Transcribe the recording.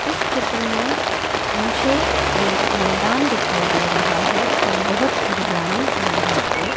इस चित्र में मुझे एक मैदान दिखाई दे रहा है और बहोत हरियाली है वहां पे।